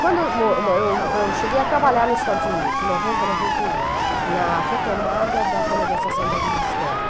Quando eu mo mo eu eu cheguei a trabalhar nos Estados Unidos, em noventa, noventa e um, na retomada da renegociação da dívida externa.